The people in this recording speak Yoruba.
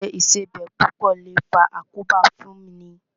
Jíjẹ Ìṣebẹ̀ púpọ̀ lè faa àkóbá fún ni